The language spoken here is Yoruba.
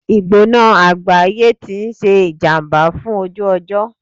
Ìgbóná àgbáyé ti ń ṣe ìjàmbá fún ojú ọjọ́.